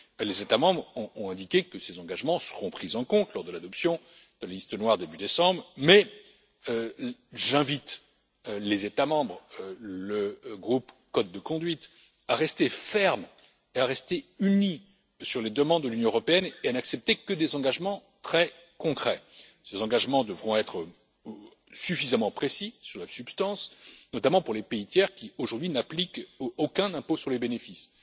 Les États membres ont indiqué que ces engagements seront pris en compte lors de l'adoption de la liste noire début décembre, mais j'invite les États membres et le groupe Code de conduite à rester fermes et unis sur les demandes de l'Union européenne et à n'accepter que des engagements très concrets. Ces engagements devront être suffisamment précis sur la substance, notamment pour les pays tiers qui, aujourd'hui, n'appliquent aucun impôt sur les bénéfices.